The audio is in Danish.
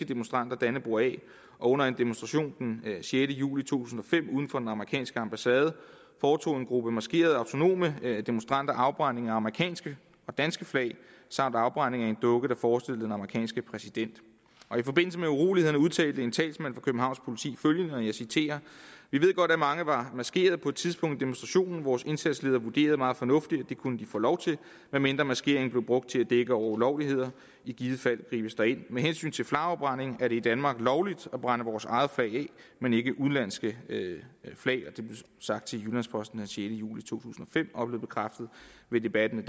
demonstranter dannebrog af og under en demonstration den sjette juli to tusind og fem uden for den amerikanske ambassade foretog en gruppe maskerede autonome demonstranter afbrænding af amerikanske og danske flag samt afbrænding af en dukke der forestillede den amerikanske præsident i forbindelse med urolighederne udtalte en talsmand for københavns politi følgende og jeg citerer vi ved godt at mange var maskeret på et tidspunkt i demonstrationen vores indsatsleder vurderede meget fornuftigt at det kunne de få lov til medmindre maskeringen blev brugt til at dække over ulovligheder i givet fald gribes der ind med hensyn til flagafbrænding er det i danmark lovligt at brænde vores eget flag af men ikke udenlandske det blev sagt til jyllands posten den sjette juli to tusind og fem og blev bekræftet ved debatten